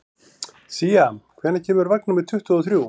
Sía, hvenær kemur vagn númer tuttugu og þrjú?